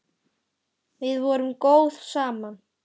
Við vorum góð saman.